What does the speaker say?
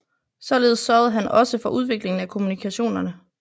Således sørgede han også for udviklingen af kommunikationerne